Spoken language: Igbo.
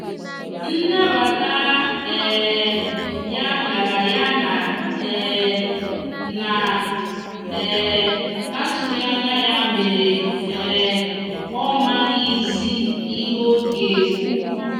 nbata um ya biara ya na um na um atughi anya ya mere um ọ maghi zi ihe ọga ekwụ.